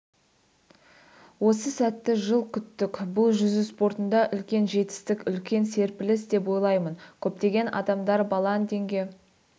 осы сәтті жыл күттік бұл жүзу спортында үлкен жетістік үлкен серпіліс деп ойлаймын көптеген адамдар баландинге